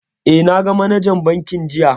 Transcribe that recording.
Eh, na ga manajan bankin jiya